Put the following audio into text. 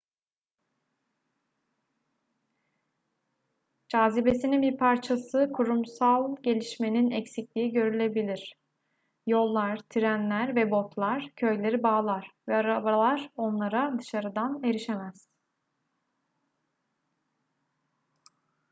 cazibesinin bir parçası kurumsal gelişmenin eksikliği görülebilir yollar trenler ve botlar köyleri bağlar ve arabalar onlara dışarıdan erişemez